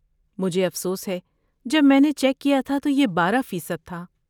مجھے افسوس ہے، جب میں نے چیک کیا تھا تو یہ بارہ فیصد تھا